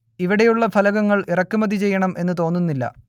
ഇവിടെ ഉള്ള ഫലകങ്ങൾ ഇറക്കുമതി ചെയ്യണം എന്നു തോന്നുന്നില്ല